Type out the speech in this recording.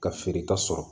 Ka feereta sɔrɔ